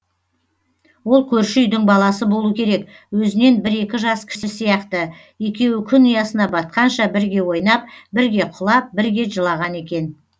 ол көрші үйдің баласы болу керек өзінен бір екі жас кіші сияқты екеуі күн ұясына батқанша бірге ойнап бірге құлап бірге жылаған екен